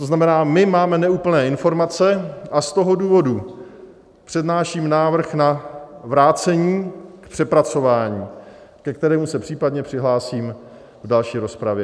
To znamená, my máme neúplné informace, a z toho důvodu přednáším návrh na vrácení k přepracování, ke kterému se případně přihlásím v další rozpravě.